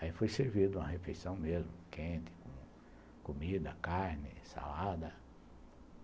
Aí foi servido uma refeição mesmo, quente, com comida, carne, salada.